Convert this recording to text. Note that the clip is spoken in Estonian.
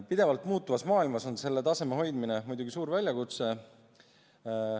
Pidevalt muutuvas maailmas on selle taseme hoidmine muidugi suur väljakutse.